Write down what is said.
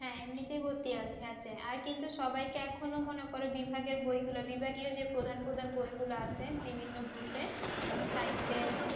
হ্যাঁ, এমনিতেই ভর্তি আছে। আর কিন্তু সবাইকে এখন ও মনে করো বিভাগের বইগুলো বিভাগীয় যে প্রধান প্রধান বইগুলো আছে বিভিন্ন গ্রুপের, যেমন science এর